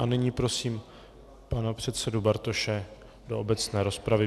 A nyní prosím pana předsedu Bartoše do obecné rozpravy.